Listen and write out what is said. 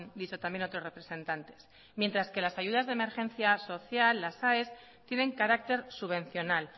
dicho también otros representantes mientras que las ayudas de emergencia social las aes tienen carácter subvencional